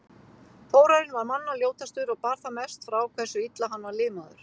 Þórarinn var manna ljótastur og bar það mest frá hversu illa hann var limaður.